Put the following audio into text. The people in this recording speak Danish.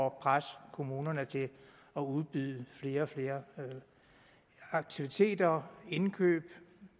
at presse kommunerne til at udbyde flere og flere aktiviteter indkøb og